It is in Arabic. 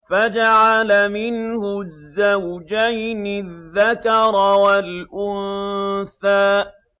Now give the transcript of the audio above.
فَجَعَلَ مِنْهُ الزَّوْجَيْنِ الذَّكَرَ وَالْأُنثَىٰ